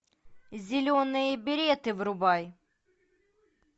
зеленые береты врубай